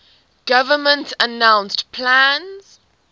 government announced plans